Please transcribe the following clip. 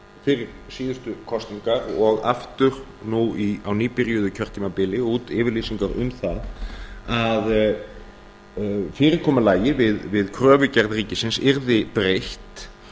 fyrir síðustu kosningar og aftur nú á nýbyrjuðu kjörtímabili út yfirlýsingar um það að fyrirkomulagi við kröfugerð ríkisins yrði breytt